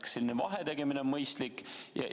Kas selline vahetegemine on mõistlik?